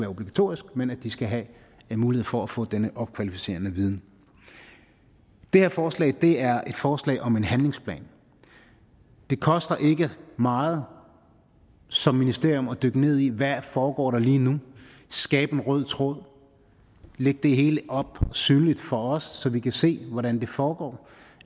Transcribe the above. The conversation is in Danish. obligatorisk men at de skal have en mulighed for at få denne opkvalificerende viden det her forslag er et forslag om en handlingsplan det koster ikke meget som ministerium at dykke ned i hvad der foregår lige nu skabe en rød tråd lægge det hele op synligt for os så vi kan se hvordan det foregår